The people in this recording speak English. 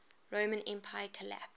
roman empire collapsed